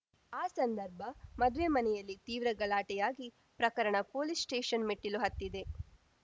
ಆ ಸಂದರ್ಭ ಮದುವೆ ಮನೆಯಲ್ಲಿ ತೀವ್ರ ಗಲಾಟೆಯಾಗಿ ಪ್ರಕರಣ ಪೊಲೀಸ್‌ ಸ್ಟೇಷನ್‌ ಮೆಟ್ಟಿಲು ಹತ್ತಿದೆ